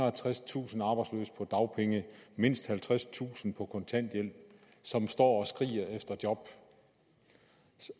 og tredstusind arbejdsløse på dagpenge mindst halvtredstusind på kontanthjælp som står og skriger efter job